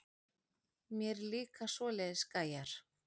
Mér líka svoleiðis gæjar.